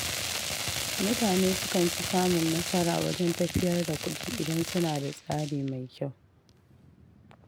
Mutane sukan fi samun nasara wajen tafiyar da kuɗi idan suna da tsari mai kyau.